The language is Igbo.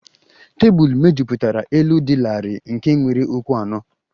Tebụl mejupụtara elu dị larịị nke nwere ụkwụ anọ